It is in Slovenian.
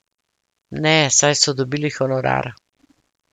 Ne, saj so dobili honorar.